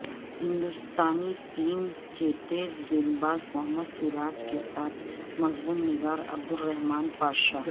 ہندوستانی ٹیم کے تیز گیند باز محمد سراج کے ساتھ مضمون نگار عبدالرحمن پاشا